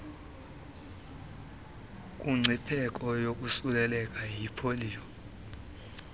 kumngcipheko wokosuleleka yipoliyo